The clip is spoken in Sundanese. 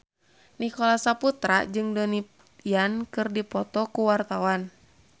Nicholas Saputra jeung Donnie Yan keur dipoto ku wartawan